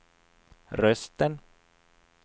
rösten